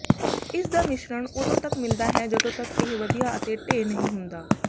ਇਸਦਾ ਮਿਸ਼ਰਣ ਉਦੋਂ ਤਕ ਮਿਲਦਾ ਹੈ ਜਦੋਂ ਤਕ ਇਹ ਵਧੀਆ ਅਤੇ ਢੇਰ ਨਹੀਂ ਹੁੰਦਾ